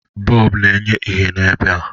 Bọlbụ na-enye ìhè n'ebe.